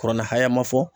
Kuranna haya ma fɔ